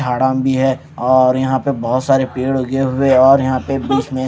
झाड़ा भी है और यहां पे बहोत सारे पेड़ उगे हुए और यहां पे बीच में--